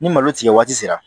Ni malo tigɛ waati sera